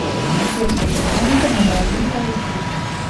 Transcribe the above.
детская поликлиника номер один поехали